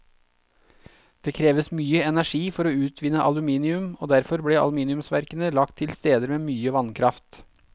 Det kreves mye energi for å utvinne aluminium, og derfor ble aluminiumsverkene lagt til steder med mye vannkraft.